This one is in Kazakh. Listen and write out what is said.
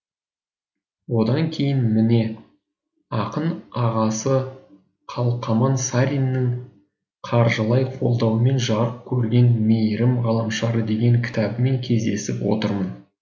одан кейін міне ақын ағасы қалқаман сариннің қаржылай қолдауымен жарық көрген мейірім ғаламшары деген кітабымен кездесіп отырмын